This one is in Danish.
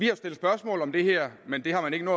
jo stillet spørgsmål om det her men det har man ikke